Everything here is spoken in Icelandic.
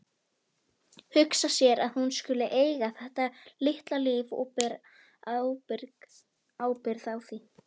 Við fórum síðan með lifrina út í bræðslu sem þar var skammt frá.